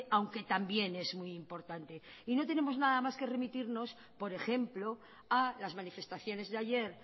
aunque también es muy importante y no tenemos nada más que remitirnos por ejemplo a las manifestaciones de ayer